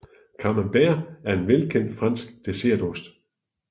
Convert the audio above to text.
Camembert er en velkendt fransk dessertost